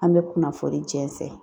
An bɛ kunnafoni jɛnsɛ.